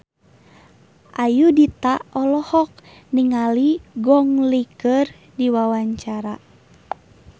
Ayudhita olohok ningali Gong Li keur diwawancara